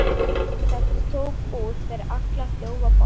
Þetta tók út yfir allan þjófabálk!